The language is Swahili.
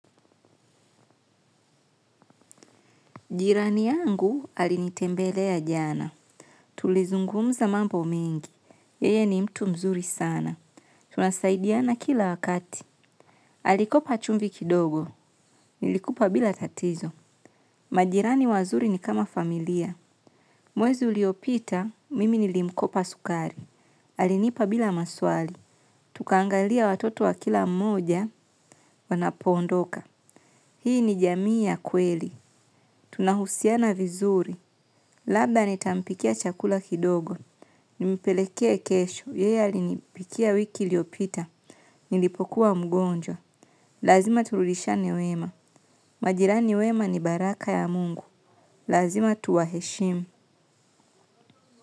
Jirani yangu alinitembelea jana. Tulizungumza mambo mengi. Yeye ni mtu mzuri sana. Tunasaidiana kila wakati. Alikopa chumvi kidogo. Nilikupa bila tatizo. Majirani wazuri ni kama familia. Mwezi uliopita, mimi nilimkopa sukari. Alinipa bila maswali. Tukaangalia watoto wa kila mmoja wanapondoka. Hii ni jamii ya kweli. Tunahusiana vizuri. Labda nitampikia chakula kidogo, nimipelekee kesho, yeye alinipikia wiki iliopita, nilipokuwa mgonjwa. Lazima turudiashiane wema. Majirani wema ni baraka ya mungu. Lazima tuwaheshimu.